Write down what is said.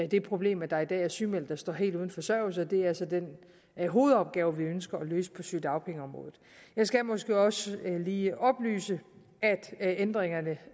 det problem at der i dag er sygemeldte der står helt uden forsørgelse og det er så den hovedopgave vi ønsker at løse på sygedagpengeområdet jeg skal måske også lige oplyse at ændringerne